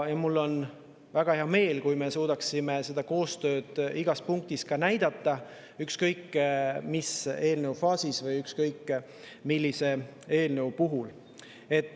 Mul on väga hea meel, kui me suudame näidata koostööd igas punktis, ükskõik millises eelnõu faasis või ükskõik millise eelnõu puhul.